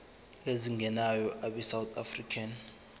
ezingenayo abesouth african